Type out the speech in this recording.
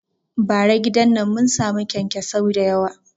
Bara gidan nan mun sami kyankyasu dayawa